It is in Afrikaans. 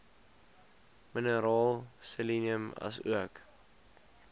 mineraal selenium asook